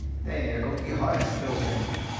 তাই না ঐরকম কি হয়? আদৌ জানি না,